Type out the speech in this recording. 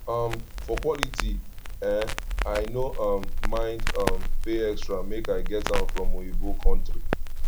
um for quality eh i no um mind um pay extra make i get am from oyinbo kontry